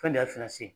Fɛn de y'a